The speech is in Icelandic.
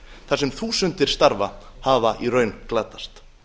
þar sem þúsundir starfa hafa í raun glatast